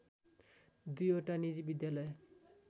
दुईवटा निजी विद्यालय